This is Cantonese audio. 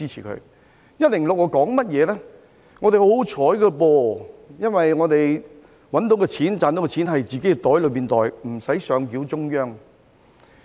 香港十分幸運，因為賺取到的金錢可以自行儲起來，無須上繳中央。